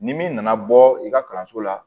Ni min nana bɔ i ka kalanso la